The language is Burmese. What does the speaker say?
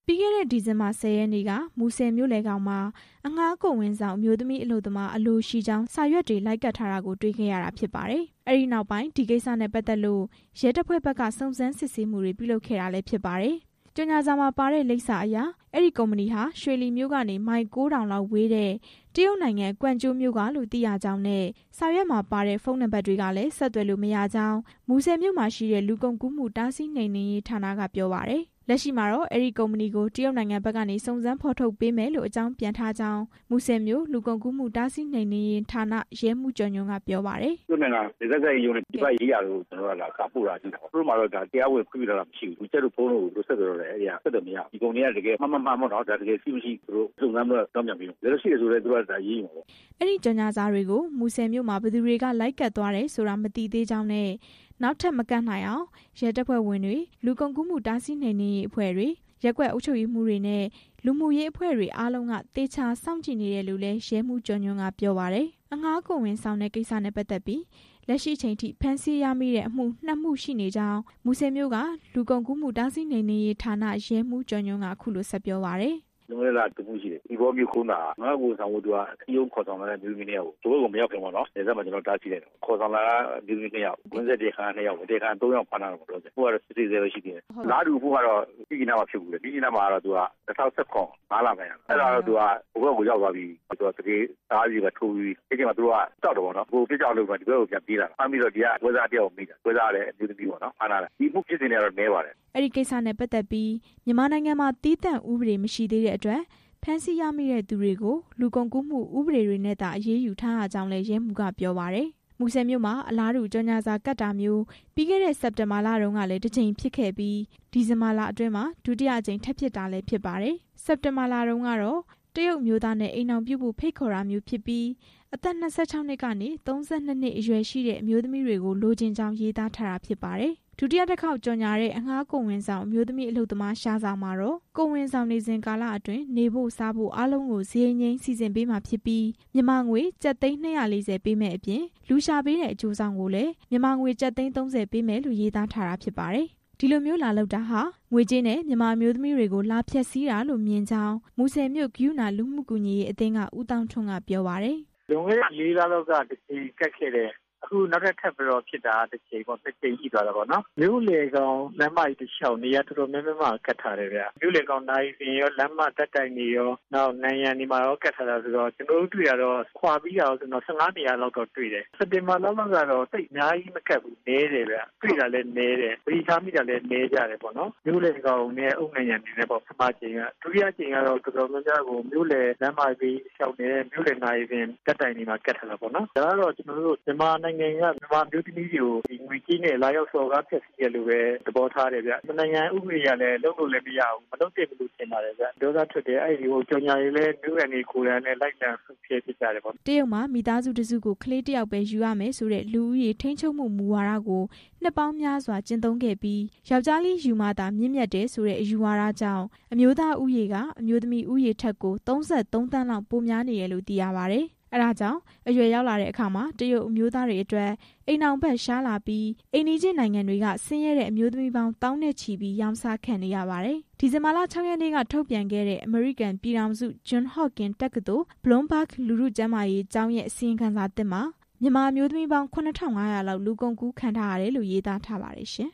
ပြီးခဲ့တဲ့ ဒီဇင်ဘာ ၁၀ ရက်နေ့က မူဆယ်မြို့လယ်ခေါင်မှာ အငှားကိုယ်ဝန်ဆောင် အမျိုးသမီးအလုပ်သမား အလိုရှိကြောင်း စာရွက်တွေ လိုက်ကပ်ထားတာကို တွေ့ခဲ့ရတာ ဖြစ်ပါတယ်။ အဲဒီနောက်ပိုင်း ဒီကိစ္စနဲ့ ပတ်သက်လို့ ရဲတပ်ဖွဲ့ဘက်က စုံစမ်းစစ်ဆေးမှုတွေပြုလုပ်ခဲ့တာလည်း ဖြစ်ပါတယ်။ ကြော်ငြာစာမှာပါတဲ့ လိပ်စာအရ အဲဒီကုမ္ပဏီဟာ ရွှေလီမြို့ကနေ မိုင် ၉ ထောင်လောက်ဝေးတဲ့ တရုတ်နိုင်ငံ၊ ကွမ်ကျိုးမြို့ကလို့ သိရကြောင်းနဲ့ စာရွက်မှာပါတဲ့ ဖုန်းနံပါတ်တွေကလည်း ဆက်သွယ်လို့မရကြောင်း မူဆယ်မြို့မှာရှိတဲ့ လူကုန်ကူးမှု တားဆီးနှိမ်နင်းရေးဌာနက ပြောပါတယ်။ လက်ရှိမှာတော့ အဲဒီကုမ္ပဏီကို တရုတ်နိုင်ငံဘက်က စုံစမ်းဖော်ထုတ်ပေးမယ်လို့ အကြောင်းပြန်ထားကြောင်း မူဆယ်မြို့က လူကုန်ကူးမှု တားဆီးနှိမ်နင်းရေးဌာန ရဲမှူး ကျော်ညွှန့်က ပြောပါတယ်။ "တရုတ်နိုင်ငံ နယ်စပ်ဆက်ဆံရေးရုံး၊ ပြည်ပရေးရာကို ကျနော်တို့က စာပို့ထားတာ၊ သူတို့မှာတော့ တရားဝင် ခွင့်ပြုထားတာမရှိဘူး၊ We Chat တို့၊ ဖုန်းတို့ကို ဆက်သွယ်မရဘူး၊ ဒီကုမ္ပဏီက တကယ် ရှိ/မရှိ သူတို့ စုံစမ်းပြီးတော့ အကြောင်းပြန်ပေးမယ်၊ တကယ်လို့ ရှိတယ်ဆိုလည်း သူတို့က အရေးယူမှာပေါ့" အဲဒီကြော်ငြာစာတွေကို မူဆယ်မြို့မှာ ဘယ်သူတွေက လိုက်ကပ်သွားတယ်ဆိုတာ မသိသေးကြောင်း နဲ့ နောက်ထပ်မကပ်နိုင်အောင် ရဲတပ်ဖွဲ့ဝင်တွေ၊ လူကုန်ကူးမှု တားဆီးနှိမ်နင်းရေးအဖွဲ့တွေ၊ ရပ်ကွက်အုပ်ချုပ်ရေးမှူးတွေနဲ့ လူမှုရေးအဖွဲ့တွေအားလုံးက သေချာစောင့်ကြည့်နေတယ်လို့လည်း ရဲမှူး ဦးကျော်ညွှန့်က ပြောပါတယ်။ အငှားကိုယ်ဝန်ဆောင်တဲ့ ကိစ္စနဲ့ပတ်သက်ပြီး လက်ရှိအချိန်အထိ ဖမ်းဆီးရမိတဲ့အမှု ၂ မှုရှိနေကြာင်း မူဆယ်မြို့က လူကုန်ကူးမှု တားဆီးနှိမ်နင်းရေးဌာန ရဲမှူးကျော်ညွှန့်က အခုလို ဆက်ပြောပါတယ်။ "လွန်ခဲ့တဲ့လက တစ်မှုရှိတယ်၊ သီပေါမြို့ ကုန်းသာက အငှားကိုယ်ဝန်ဆောင်ဖို့ စည်းရုံးခေါ်ဆောင်သွားတဲ့ အမျိုးသမီး ၁ ယောက်ကို ဟိုဘက်ကို မရောက်ခင်ပေါ့နော်၊ နယ်စပ်မှာ ကျနော်တို့ တားဆီးလိုက်တယ်၊ တရားခံက ၃ ယောက်ဖမ်းထားတာပေါ့၊ ခုကတော့ စစ်ဆေးဆဲပဲရှိသေးတယ်၊ အလားတူအမှုကတော့ မြစ်ကြီးနားမှာ ဖြစ်ဖူးတယ်၊ မြစ်ကြီးနားမှာကတော့ ၂၀၁၇၊ ၅ လပိုင်းတုန်းက အဲဒါကတော့ ဟိုဘက်ကို ရောက်သွားပြီးပြီ၊ သူတို့က ကြောက်တယ်ပေါ့နော်၊ အဲအချိန်မှာ သူတို့က ဒီဘက်ကို ထွက်ပြေးလာတာ၊ ဖမ်းမိတော့ ဒီကပွဲစား တစ်ယောက်ကိုမိတာ၊ ပွဲစားကလည်း အမျိုးသမီးပေါ့နော်၊ ဖမ်းထားတယ်၊ ဒီအမှုဖြစ်စဉ်တွေကတော့ နည်းပါတယ်" အဲဒီကိစ္စနဲ့ပတ်သက်ပြီး မြန်မာနိုင်ငံမှာ ဥပဒေသီးသန့် မရှိသေးတဲ့အတွက် ဖမ်းဆီးရမိတဲ့သူတွေကို လူကုန်ကူးမှု ဥပဒေတွေနဲ့သာ အရေးယူထားရကြောင်းလည်း ရဲမှူးက ပြောပါတယ်။ မူဆယ်မြို့မှာ အလားတူကြော်ငြာစာ ကပ်တာမျိုး ပြီးခဲ့တဲ့ စက်တင်ဘာလတုန်းကလည်း တစ်ကြိမ်ဖြစ်ခဲ့ပြီး ဒီဇင်ဘာလအတွင်းမှာ ဒုတိယအကြိမ်ထပ်ဖြစ်တာလို့လည်း သိရပါတယ်။ စက်တင်ဘာလတုန်းကတော့ တရုတ်အမျိုးသားနဲ့ အိမ်ထောင်ပြုဖို့ဖိတ်ခေါ်တာမျိုးဖြစ်ပြီး အသက် ၂၆ ကနေ ၃၂ နှစ် အရွယ်ရှိတဲ့ အမျိုးသမီးတွေကို လိုချင်ကြောင်း ရေးသားထားတာဖြစ်ပါတယ်။ ဒုတိယတစ်ခေါက်ကြော်ငြာတဲ့ အငှားကိုယ်ဝန်ဆောင် အမျိုးသမီးအလုပ်သမား ရှာတာမှာတော့ ကိုယ်ဝန်ဆောင်နေ စဉ် ကာလအတွင်း နေဖို့၊ စားဖို့ အားလုံးကို စရိတ်ငြိမ်းစီစဉ်ပေးမှာဖြစ်ပြီး မြန်မာငွေကျပ်သိန်း ၂၄၀ ပေးမယ့် အပြင် လူရှာပေးတဲ့အကျိုးဆောင်ကိုလည်း မြန်မာငွေသိန်း ၃၀ ပေးမယ်ဆိုပြီး ရေးသားထားပါတယ်။ ဒီလိုမျိုးလာလုပ်တာဟာ ငွေကြေးနဲ့ မြန်မာအမျိုးသမီးတွေကို လာဖျက်ဆီးတာလို့မြင်ကြောင်း မူဆယ်မြို့ ကရုဏာလူမှုကူညီရေးအသင်းက ဦးသောင်းထွန်းက ပြောပါတယ်။ "လွန်ခဲ့တဲ့ ၄ လလောက်က တစ်ကြိမ်ကပ်ခဲ့တယ်၊ အခုနောက်ထပ်ဖြစ်တာက တစ်ကြိမ်ပေါ့၊ ၂ ကြိမ်ရှိသွားပြီပေါ့၊ မြို့လယ်ခေါင် လမ်းမကြီးတလျှောက် နေရာတော်တေ်ာများများမှာ ကပ်ထားတယ်ပေါ့၊ မြို့လယ်ခေါင် နာရီစင်ရော၊ လမ်းဓာတ်တိုင်တွေရော၊ နောက်နံရံတွေမှာရော ကပ်ထားတာဆိုတော့ ကျနော်တို့ တွေ့တာရော၊ ခွာပြီးတာရော ဆိုရင်တော့ ၁၅ နေရာလောက်တော့ တွေ့တယ်၊ စက်တင်ဘာလလောက်ကတော့ သိပ်အများကြီးမကပ်ဘူး၊ နည်းတယ်၊ တွေ့တာလည်း နည်းတယ်၊ သတိထားမိတာလည်း နည်းကြတယ်ပေါ့နော်၊ ဒုတိယအကြိမ်ကတော့ တော်တော်များများကို မြို့လယ်လမ်းမဘေးတလျှောက်နဲ့ မြို့လယ်နာရီစင်၊ ဓာတ်တိုင်တွေမှာ ကပ်ထားတာပေါ့နော်၊ ဒါကတော့ ကျနော်တို့ မြန်မာနိုင်ငံက အမျိုးသမီးတွေကို ငွေကြေးနဲ့ လာရောက်စော်ကား ဖျက်ဆီးတယ်လို့ပဲ သဘောထားတယ်ဗျ၊ နှစ်နိုင်ငံဥပဒေအရလည်း လုပ်လို့မရဘူး၊ လုပ်လည်း မလုပ်သင့်ဘူး" တရုတ်မှာ မိသားစုတစ်စုကို ကလေးတစ်ယောက်ပဲ ယူရမယ်ဆိုတဲ့ လူဦးရေထိန်းချုပ်မှု မူဝါဒကို နှစ်ပေါင်းများစွာ ကျင့်သုံးခဲ့ပြီး ယောက်ျားလေးယူမှသာ မြင့်မြတ်တယ်ဆိုတဲ့ အယူဝါဒကြောင့် အမျိုးသားဦးရေက အမျိုးသမီး ဦးရေထက် ၃၃ သန်းလောက် ပိုများနေတယ်လို့ သိရပါတယ်။ အဲဒါကြောင့် အရွယ်ရောက်လာတဲ့အခါ တရုတ်အမျိုးသားတွေအတွက် အိမ်ထောင်ဖက် ရှားလာတာကြောင့် အိမ်နီးချင်းနိုင်ငံတွေက ဆင်းရဲတဲ့အမျိုးသမီးပေါင်း သောင်းနဲ့ချီပြီး ရောင်းစားခံနေရပါတယ်။ ဒီဇင်ဘာ ၆ ရက်နေ့က ထုတ်ပြန်ခဲ့တဲ့ အမေရိကန်ပြည်ထောင်စု John Hopkins တက္ကသိုလ် Bloomberg လူထုကျန်းမာရေးကျောင်းရဲ့ အစီရင်ခံစာသစ်မှာ မြန်မာအမျိုးသမီးပေါင်း လောက် လူကုန်ကူးခံထား ရတယ်လို့ ရေးသားထားပါတယ်ရှင်။